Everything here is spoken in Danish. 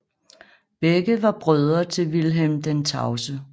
Begge var brødre til Vilhelm den Tavse